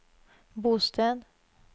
bosted